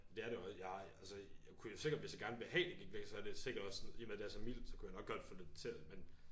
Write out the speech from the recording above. Ja det er det jo jeg altså jeg kunne jo sikkert hvis jeg gerne ville have det gik væk så er det sikkert også i og med det er så mildt så kunne jeg nok godt få det til at men